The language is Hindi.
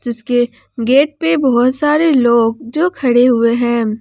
जिसके गेट पे बहुत सारे लोग जो खड़े हुए हैं।